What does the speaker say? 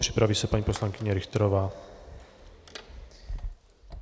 Připraví se paní poslankyně Richterová.